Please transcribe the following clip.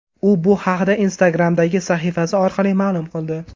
U bu haqda Instagram’dagi sahifasi orqali ma’lum qildi.